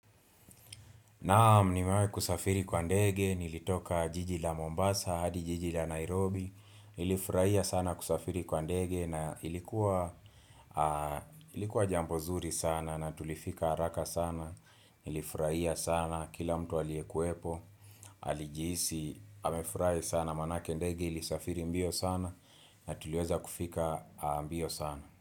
Naam nimewahi kusafiri kwa ndege, nilitoka jiji la Mombasa, hadi jiji la Nairobi Nilifurahia sana kusafiri kwa ndege na ilikuwa ilikuwa jambo nzuri sana na tulifika haraka sana Nilifurahia sana kila mtu aliyekuepo, alijihisi, amefurahi sana maanake ndege ilisafiri mbio sana Natuliweza kufika mbio sana.